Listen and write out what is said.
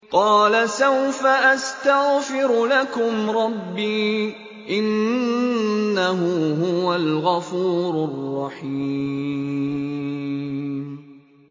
قَالَ سَوْفَ أَسْتَغْفِرُ لَكُمْ رَبِّي ۖ إِنَّهُ هُوَ الْغَفُورُ الرَّحِيمُ